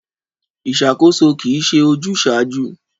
Ìṣàkóso kì í ṣe ojúsàájú.